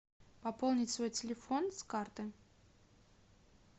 пополнить свой телефон с карты